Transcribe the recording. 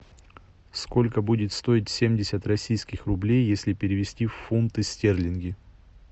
сколько будет стоить семьдесят российских рублей если перевести в фунты стерлинги